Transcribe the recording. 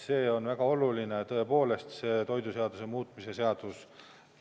See on väga oluline, tõepoolest, see toiduseaduse muutmise seadus.